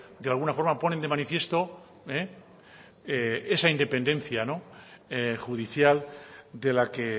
de alguna forma ponen de manifiesto esa independencia judicial de la que